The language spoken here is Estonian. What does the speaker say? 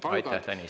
Aitäh, Tõnis!